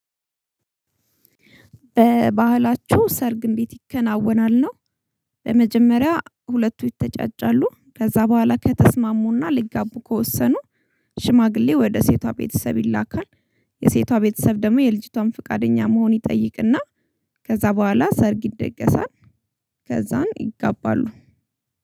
ባህላቹ ሰርግ እንዴት ይከናወናል ነው? በመጀመሪያ ሁለቱ ይተጫጫሉ ከዛ በኋላ ከተስማሙና ሊጋቡ ከወሰኑ ሽማግሌ ወደ ሴቷ ቤተሰብ ይላካል። የሴቷ ቤተሰብ ደግሞ የልጅቷን ፈቃደኛ መሆን ይጠይቅና ከዛ በኋላ ሰርግ ይደገሳል። ከዛም ይጋባሉ